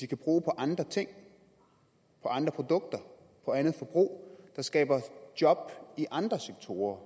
kan bruge på andre ting på andre produkter på andet forbrug der skaber job i andre sektorer